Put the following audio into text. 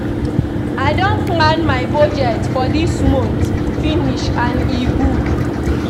I don plan my budget for dis month finish and e good